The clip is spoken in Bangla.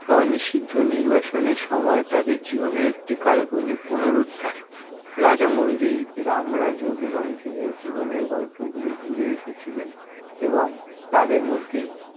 স্ব-নিষিদ্ধ নির্বাসনের সময় তাদের জীবনের একটি কাল্পনিক পুনরুদ্ধার। রাজামৌলি, রাম রাজু এবং ভীমের জীবনের গল্পগুলি জুড়ে এসেছিলেন এবং তাদের মধ্যে